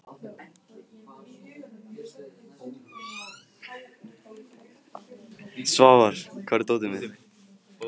Svafar, hvar er dótið mitt?